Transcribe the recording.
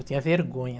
Eu tinha vergonha.